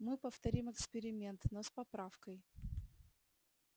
мы повторим эксперимент но с поправкой